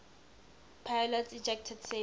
pilots ejected safely